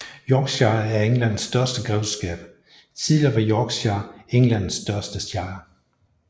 Yorkshire er Englands største grevskab Tidligere var Yorkshire Englands største shire